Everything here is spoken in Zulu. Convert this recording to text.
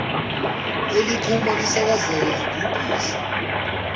eliqhuma lisakazeke libhubhise